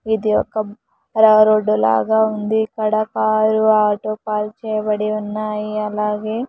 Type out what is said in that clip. ఇది ఒక రా రోడ్డు లాగా ఉంది. ఇక్కడ కారు ఆటో పార్క్ చేయబడి ఉన్నాయి అలాగే --